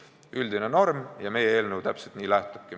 See on üldine norm ja meie eelnõu täpselt sellest lähtubki.